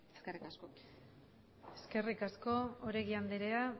eskerrik asko eskerrik asko oregi andrea